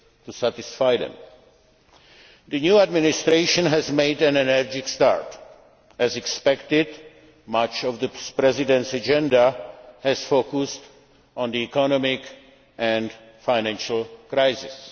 it is to satisfy them. The new Administration has made an energetic start. As expected, much of the President's agenda has focused on the economic and financial